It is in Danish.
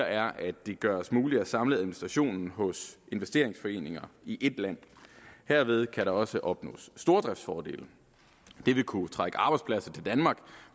er at det gøres muligt at samle administrationen hos investeringsforeninger i ét land herved kan der også opnås stordriftsfordele det vil kunne trække arbejdspladser til danmark